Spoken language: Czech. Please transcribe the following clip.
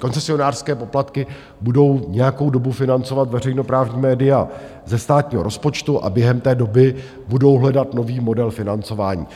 koncesionářské poplatky, budou nějakou dobu financovat veřejnoprávní média ze státního rozpočtu a během té doby budou hledat nový model financování.